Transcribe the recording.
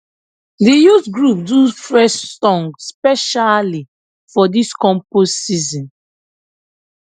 the youth group do fresh song specially for this compost season